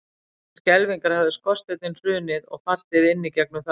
Mér til skelfingar hafði skorsteinninn hrunið og fallið inn í gegnum þakið.